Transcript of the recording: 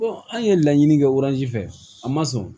an ye laɲini kɛ fɛ a ma sɔn